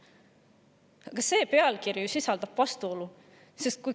Aga see sisaldab ju vastuolu!